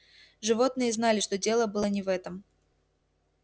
животные знали что дело было не в этом